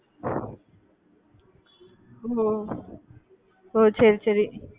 ஒஹ் ஒஹ் ஒஹ் சரி சரி